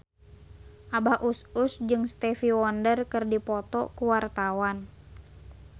Abah Us Us jeung Stevie Wonder keur dipoto ku wartawan